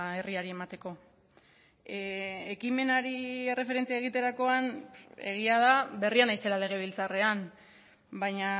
herriari emateko ekimenari erreferentzia egiterakoan egia da berria naizela legebiltzarrean baina